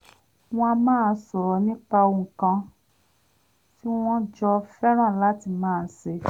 wọ́n á máa sọ̀rọ̀ nípa ohun kan tí wọ́n jọ fẹ́raǹ láti máa ṣe